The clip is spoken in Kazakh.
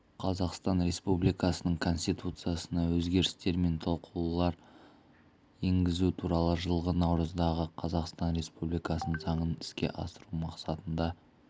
қазақстан республикасының конституциясына өзгерістер мен толықтырулар енгізу туралы жылғы наурыздағы қазақстан республикасының заңын іске асыру мақсатында